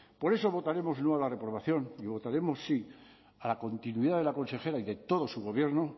por eso votaremos no a la reprobación y votaremos sí a la continuidad de la consejera y de todo su gobierno